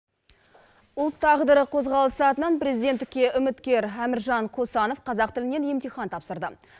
ұлт тағдыры қозғалысы атынан президенттікке үміткер әміржан қосанов қазақ тілінен емтихан тапсырды